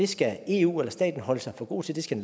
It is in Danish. skal eu eller staten holde sig for god til det skal